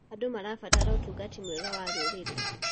Andũ marabatara ũtungata mwega wa rũrĩrĩ.